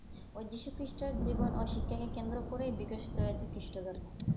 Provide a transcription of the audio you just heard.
ওই যীশুখ্রীষ্টের জীবন ও শিক্ষাকে কেন্দ্র করে বিকশিত হয়েছে খ্রীষ্টধর্ম।